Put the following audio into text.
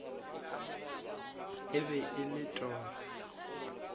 e be e le toro